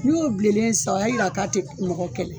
N'i y'o bilelen sisan o y'a yira k'a tɛ mɔgɔ kɛlɛ.